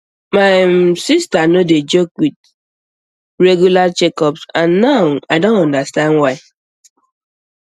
my um sister no dey joke with um regular checkups um and now i don understand why